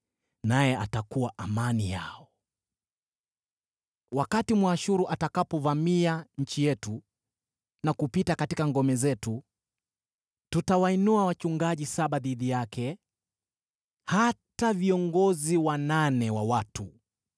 Naye atakuwa amani yao. Ukombozi Na Uharibifu Wakati Mwashuru atakapovamia nchi yetu na kupita katika ngome zetu, tutawainua wachungaji saba dhidi yake, hata viongozi wanane wa watu.